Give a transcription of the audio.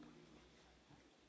Dank voor die vraag.